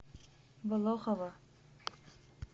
болохово